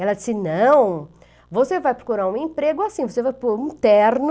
Ela disse, não, você vai procurar um emprego assim, você vai por um terno.